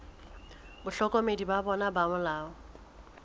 bahlokomedi ba bona ba molao